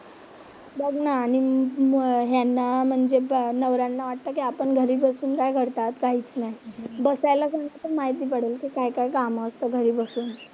बघ ना आणि ह्यांना म्हणजे नवऱ्यांना वाटतं की आपण घरी बसून काय करतात, काहीच नाही, बसायला माहिती पडेल काय काय कामं असतं घरी बसून.